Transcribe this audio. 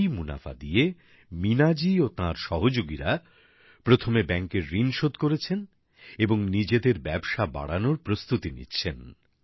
এই মুনাফা দিয়ে মিনা জী ও তাঁর সহযোগিরা প্রথমে ব্যাংকের ঋণ শোধ করেছেন এবং নিজেদের ব্যবসা বাড়ানোর প্রস্তুতি নিচ্ছেন